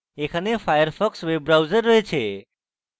এখানে firefox web browser রয়েছে